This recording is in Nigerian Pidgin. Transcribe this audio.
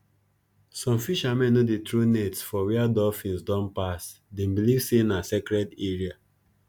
some fishermen no dey throw nets for where dolphins don pass them believe say na sacred area